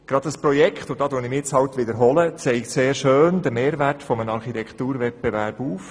Gerade dieses Projekt – da wiederhole ich mich halt – zeigt sehr schön die Vorteile eines Architekturwettbewerbs auf.